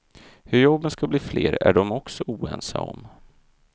Hur jobben ska bli fler är de också oense om.